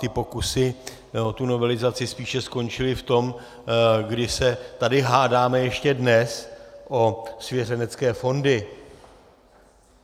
Ty pokusy o tu novelizaci spíše skončily v tom, kdy se tady hádáme ještě dnes o svěřenecké fondy.